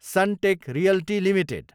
Sunteck Realty Ltd